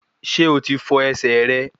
Ṣé o ti fọ ẹsẹ̀ rẹ